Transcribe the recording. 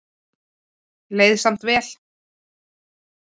Leið samt vel.